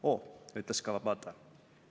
"Oo," ütles Kawabata.